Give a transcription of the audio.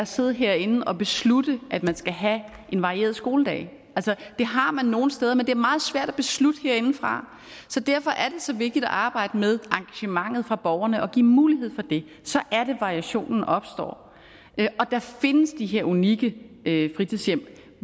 sidde herinde og beslutte at man skal have en varieret skoledag det har man nogle steder men det er meget svært at beslutte herindefra så derfor er det så vigtigt at arbejde med engagementet fra borgerne og give mulighed for det så er det variationen opstår og der findes de her unikke fritidshjem